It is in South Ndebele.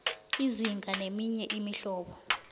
izinga neminye imihlobo